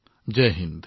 Jay Hind